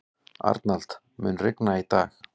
Arnald, mun rigna í dag?